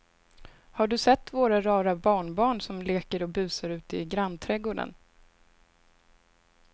Har du sett våra rara barnbarn som leker och busar ute i grannträdgården!